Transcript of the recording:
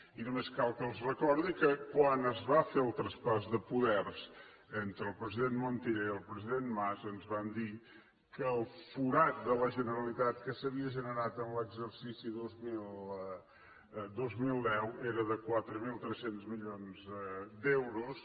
i només cal que els recordi que quan es va fer el traspàs de poders entre el president montilla i el president mas ens van dir que el forat de la generalitat que s’havia generat en l’exercici dos mil deu era de quatre mil tres cents milions d’euros